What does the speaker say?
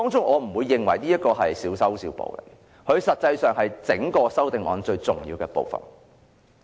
我不認為這是小修小補，其實這是修正案最重要的部分。